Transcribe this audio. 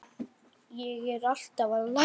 Ég er alltaf að læra.